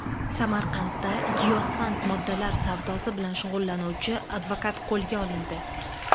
Samarqandda giyohvand moddalar savdosi bilan shug‘ullanuvchi advokat qo‘lga olindi.